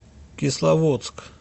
кисловодск